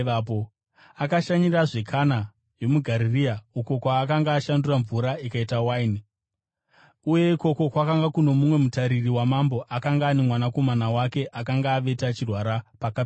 Akashanyirazve Kana yomuGarirea, uko kwaakanga ashandura mvura ikava waini. Uye ikoko kwakanga kuno mumwe mutariri wamambo akanga ane mwanakomana wake akanga avete achirwara paKapenaume.